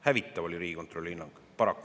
Hävitav oli Riigikontrolli hinnang!